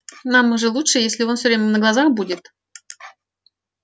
нам же лучше если он все время на глазах будет